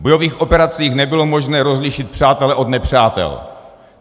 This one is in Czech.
V bojových operacích nebylo možné rozlišit přátele od nepřátel.